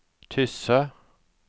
Tysse